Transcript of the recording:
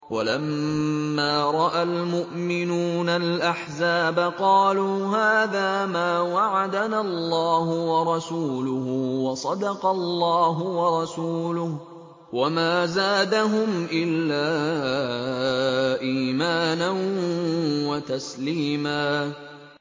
وَلَمَّا رَأَى الْمُؤْمِنُونَ الْأَحْزَابَ قَالُوا هَٰذَا مَا وَعَدَنَا اللَّهُ وَرَسُولُهُ وَصَدَقَ اللَّهُ وَرَسُولُهُ ۚ وَمَا زَادَهُمْ إِلَّا إِيمَانًا وَتَسْلِيمًا